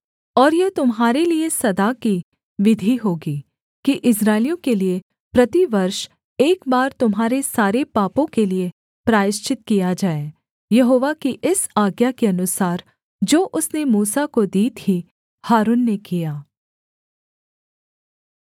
और यह तुम्हारे लिये सदा की विधि होगी कि इस्राएलियों के लिये प्रतिवर्ष एक बार तुम्हारे सारे पापों के लिये प्रायश्चित किया जाए यहोवा की इस आज्ञा के अनुसार जो उसने मूसा को दी थी हारून ने किया